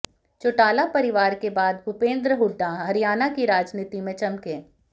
चौटाला परिवार के बाद भूपेंद्र हुड्डा हरियाणा की राजनीति में चमके